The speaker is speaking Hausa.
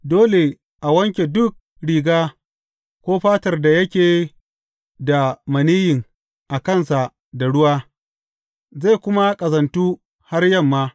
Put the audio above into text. Dole a wanke duk riga ko fatar da yake da maniyyin a kansa da ruwa, zai kuma ƙazantu har yamma.